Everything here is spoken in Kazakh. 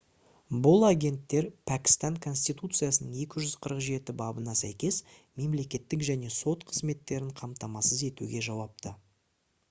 бұл агенттер пәкістан конституциясының 247-бабына сәйкес мемлекеттік және сот қызметтерін қамтамасыз етуге жауапты